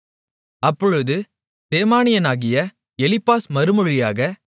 அப்பொழுது தேமானியனாகிய எலிப்பாஸ் மறுமொழியாக